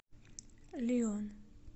лион